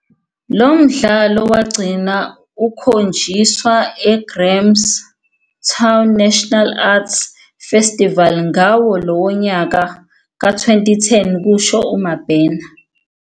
Lo mdlalo wagcina ukhonjiswa eGrahamstown National Arts Festival ngawo lowo nyaka, ka-2010," kusho uMabena.